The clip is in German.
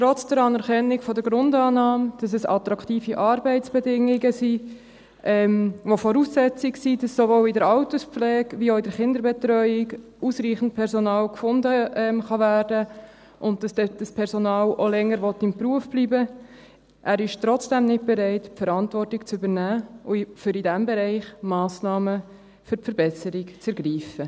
Trotz der Anerkennung der Grundannahme, dass es attraktive Arbeitsbedingungen sind, welche Voraussetzungen dafür sind, dass sowohl in der Alterspflege als auch in der Kinderbetreuung ausreichend Personal gefunden werden kann, und dass das Personal auch länger im Beruf bleiben will, ist er nicht bereit, die Verantwortung zu übernehmen, um in diesem Bereich Massnahmen zur Verbesserung zu ergreifen.